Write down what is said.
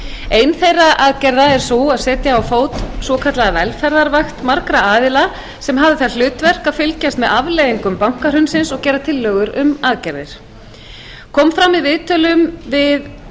ein þeirra aðgerða er sú að setja á fót svokallaða velferðarvakt margra aðila sem hafi það hlutverk að fylgjast með afleiðingum bankahrunsins og gera tillögur um aðgerðir kom fram í viðtölum við